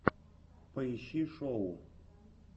поищи шоу